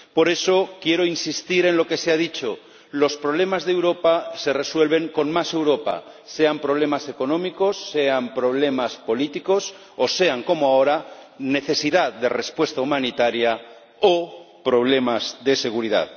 Por eso quiero insistir en lo que se ha dicho los problemas de Europa se resuelven con más Europa, sean problemas económicos, sean problemas políticos o sean, como ahora, la necesidad de dar una respuesta humanitaria o problemas de seguridad.